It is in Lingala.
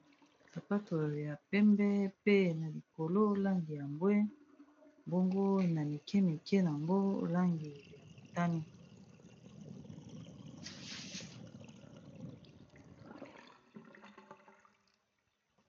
Sapato ya pembe pe na likolo langi ya mbwe bongo na mike mike nango langi ya motani.